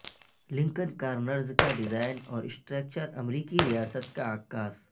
Lankan corners کا design اور structure امریکی ریاست کا عکاس